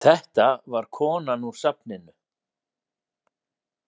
Þetta var konan úr safninu.